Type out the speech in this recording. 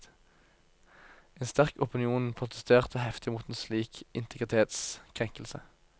En sterk opinion protesterte heftig mot en slik integritetskrenkelse.